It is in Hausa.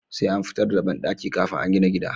Sai an fitar da banɗaki kafin a gina gida